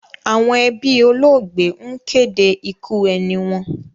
Àwọn ẹbí olóògbé ń kéde ikú ẹni wọn.